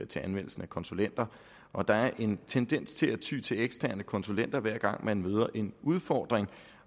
til anvendelsen af konsulenter og at der er en tendens til at ty til eksterne konsulenter hver gang man møder en udfordring